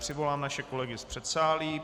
Přivolám naše kolegy z předsálí.